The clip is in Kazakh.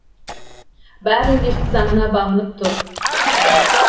бәрі үндестік заңына бағынып тұр